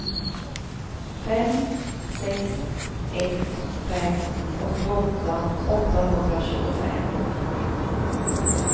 fem sex ett fem åttioåtta åttahundratjugofem